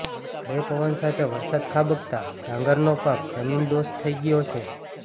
ભારે પવન સાથે વરસાદ ખાબકતા ડાંગરનો પાક જમીનદોસ્ત થઈ ગયો છે